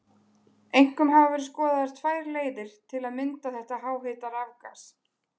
Einkum hafa verið skoðaðar tvær leiðir til að mynda þetta háhita rafgas.